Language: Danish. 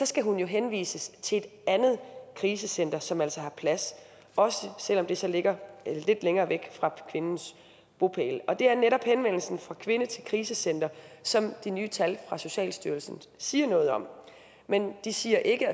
skal hun jo henvises til et andet krisecenter som altså har plads også selv om det så ligger lidt længere væk fra kvindens bopæl det er netop henvendelsen fra kvinde til krisecenter som de nye tal fra socialstyrelsen siger noget om men de siger ikke